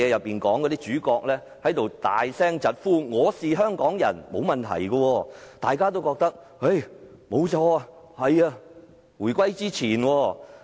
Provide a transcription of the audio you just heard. "當主角大聲疾呼："我是香港人"，大家都認為沒有問題。